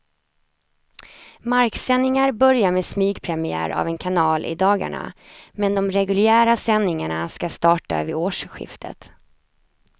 Marksändningar börjar med smygpremiär av en kanal i dagarna, men de reguljära sändningarna ska starta vid årsskiftet.